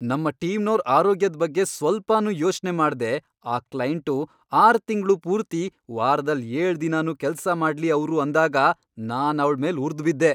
ನಮ್ಮ ಟೀಮ್ನೋರ್ ಆರೋಗ್ಯದ್ ಬಗ್ಗೆ ಸ್ವಲ್ಪನೂ ಯೋಚ್ನೆ ಮಾಡ್ದೇ, ಆ ಕ್ಲೈಂಟು, ಆರ್ ತಿಂಗ್ಳು ಪೂರ್ತಿ ವಾರ್ದಲ್ ಏಳ್ ದಿನನೂ ಕೆಲ್ಸ ಮಾಡ್ಲಿ ಅವ್ರು ಅಂದಾಗ ನಾನವ್ಳ್ ಮೇಲ್ ಉರ್ದ್ಬಿದ್ದೆ.